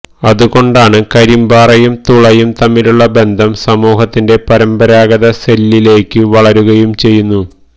അതുകൊണ്ടാണ് കരിമ്പാറയും തുളയും തമ്മിലുള്ള ബന്ധം സമൂഹത്തിന്റെ പരമ്പരാഗത സെല്ലിലേയ്ക്ക് വളരുകയും ചെയ്യുന്നു